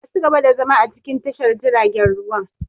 Ka ci gaba da zama a cikin tashar jiaragen ruwan!